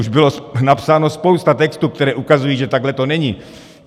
Už byla napsána spousta textů, které ukazují, že takhle to není.